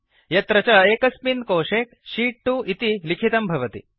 यत्र च एकस्मिन् कोशे शीत् 2 इति लिखितं भवति